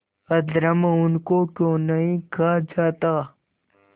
अधर्म उनको क्यों नहीं खा जाता